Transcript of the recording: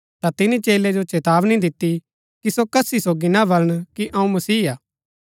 ता तिनी चेलै जो चेतावनी दिती कि सो कसी सोगी ना बलन कि अऊँ मसीह हा